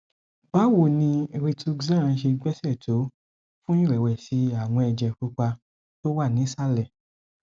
báwo ni rituxan ṣe gbéṣẹ tó fún ìrẹwẹsì àwọn ẹjẹ pupa tó wà nísàlẹ